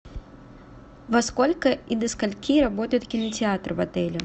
во сколько и до скольки работает кинотеатр в отеле